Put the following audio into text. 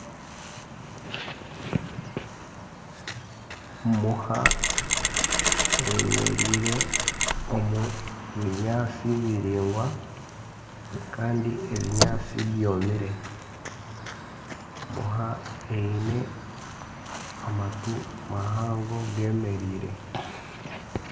Muha eyemereire omu binyatsi biraingwa Kandi ebinyatsi byomire Muha Eine amatu mahango gemereire